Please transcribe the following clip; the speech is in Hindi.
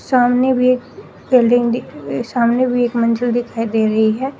सामने भी एक बिल्डिंग सामने भी एक मंजिल दिखाई दे रही है।